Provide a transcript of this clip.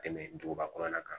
Tɛmɛ duguba kɔnɔna kan